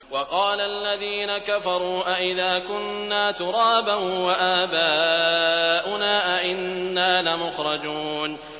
وَقَالَ الَّذِينَ كَفَرُوا أَإِذَا كُنَّا تُرَابًا وَآبَاؤُنَا أَئِنَّا لَمُخْرَجُونَ